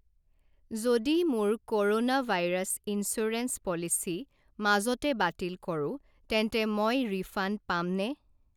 যদি মোৰ corona virus insurance policy মাজতে বাতিল কৰো তেন্তে মই ৰিফাণ্ড পামনে?